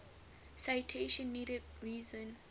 citation needed reason